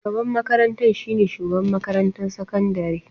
Shugaban makarantar shi ne Shugaban makarantar sakandare.